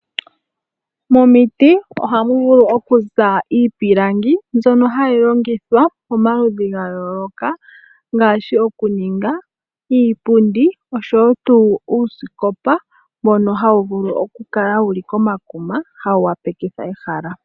Momiti ohamu vulu okuza iipilangi mbyono hayi longithwa pamaludhi ga yooloka ngaashi oku ninga iipundi noshowo uusikopa mbono hawu vulu ku kala komakuma wu opaleke ehala.